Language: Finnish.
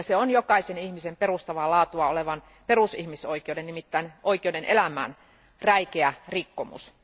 Se on jokaisen ihmisen perustavaa laatua olevan perusihmisoikeuden, nimittäin oikeuden elämään, räikeä rikkomus.